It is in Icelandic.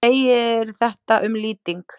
segir þetta um lýting